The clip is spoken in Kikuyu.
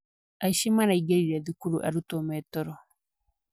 Aici maraingĩrire thukuru arutwo metoro.